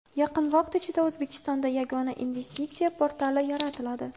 Yaqin vaqt ichida O‘zbekistonda Yagona investitsiya portali yaratiladi.